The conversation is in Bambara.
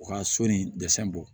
U ka so ni dɛsɛ bɔ